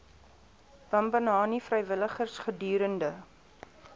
bambanani vrywilligers gedurende